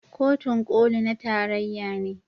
Kotun Koli na tarayya ne.